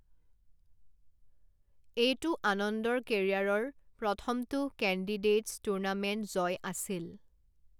এইটো আনন্দৰ কেৰিয়াৰৰ প্ৰথমটো কেন্দিডেইটছ টুৰ্ণামেণ্ট জয় আছিল।